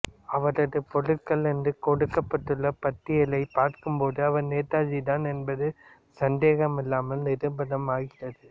அவரது பொருட்கள் என்று கொடுக்கப்பட்டுள்ள பட்டியலைப் பார்க்கும் போது அவர் நேதாஜி தான் என்பது சந்தேகமில்லாமல் நிரூபணம் ஆகிறது